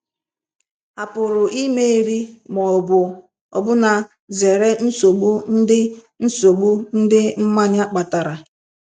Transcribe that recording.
À pụrụ imeri ma ọ bụ ọbụna zere nsogbu ndị nsogbu ndị mmanya kpatara?